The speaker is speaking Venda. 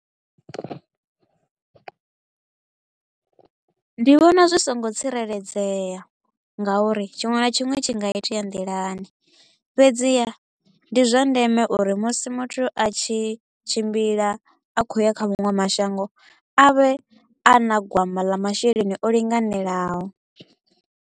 Ndi vhona zwi so ngo tsireledzea nga uri tshiṅwe na tshiṅwe tshi nga itea nḓilani, fhedziha ndi zwa ndeme uri musi muthu a tshi tshimbila a kho u ya kha maṅwe mashango a vhe a na gwama ḽa masheleni o linganelaho.